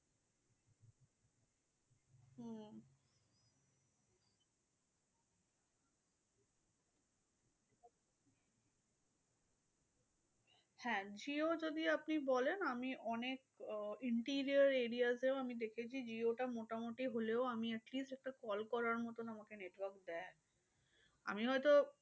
হ্যাঁ jio যদি আপনি বলেন, আমি অনেক আহ interior area তেও আমি দেখেছি, jio টা মোটামুটি হলেও আমি atleast একটা call করার মতন আমাকে network দেয়। আমি হয়তো